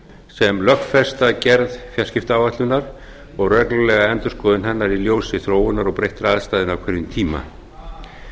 sem lögfesta gerð fjarskiptaáætlunar og reglulega endurskoðun hennar í ljósi þróunar og breyttra aðstæðna á hverjum tíma